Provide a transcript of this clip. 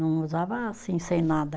Não usava assim, sem nada.